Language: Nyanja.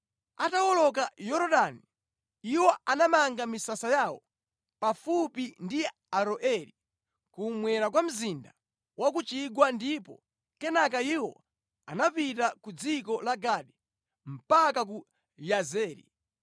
Atawoloka Yorodani, iwo anamanga misasa yawo pafupi ndi Aroeri kummwera kwa mzinda wa ku chigwa ndipo kenaka iwo anapita ku dziko la Gadi mpaka ku Yazeri.